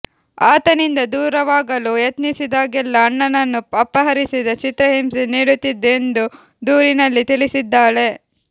ಆತನಿಂದ ದೂರವಾಗಲು ಯತ್ನಿಸಿದಾಗಲೆಲ್ಲ ಅಣ್ಣನನ್ನು ಅಪಹರಿಸಿ ಚಿತ್ರಹಿಂಸೆ ನೀಡುತ್ತಿದ್ದ ಎಂದು ದೂರಿನಲ್ಲಿ ತಿಳಿಸಿದ್ದಾಳೆ